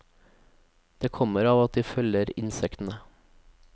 Det kommer av at de følger insektene.